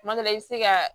Kuma dɔ la i bɛ se ka